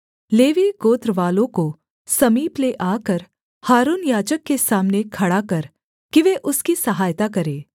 levy गोत्रवालों को समीप ले आकर हारून याजक के सामने खड़ा कर कि वे उसकी सहायता करें